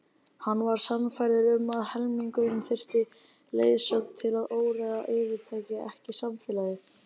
Hann var sannfærður um að almenningur þyrfti leiðsögn til að óreiðan yfirtæki ekki samfélagið.